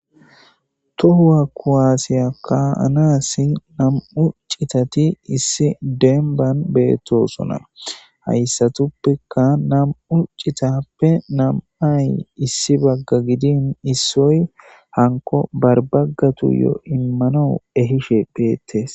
tohuwa kuwaasiya kaanaassi nam7u citati issi demban beettosona hayssatuppeka nam7u citappe nam7ay issi bagga gidin issoy hanko barbaggatu yo immano ehishe pheettes